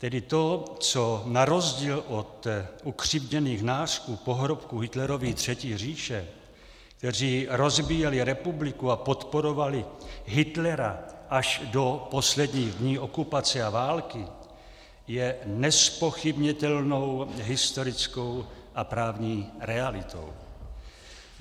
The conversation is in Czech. Tedy to, co na rozdíl od ukřivděných nářků pohrobků Hitlerovy Třetí říše, kteří rozbíjeli republiku a podporovali Hitlera až do posledních dní okupace a války, je nezpochybnitelnou historickou a právní realitou.